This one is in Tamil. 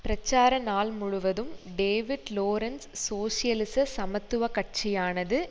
பிரச்சார நாள் முழுவதும் டேவிட் லோரன்ஸ் சோசியலிச சமத்துவ கட்சியானது